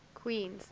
queens